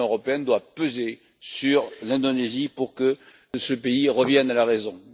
L'Union européenne doit peser sur l'Indonésie pour que ce pays revienne à la raison.